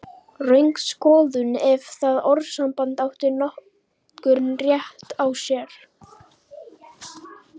Röng skoðun, ef það orðasamband átti nokkurn rétt á sér.